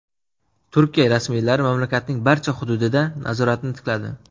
Turkiya rasmiylari mamlakatning barcha hududida nazoratni tikladi.